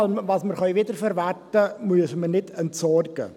Alles, was wir wiederverwerten können, müssen wir nicht entsorgen.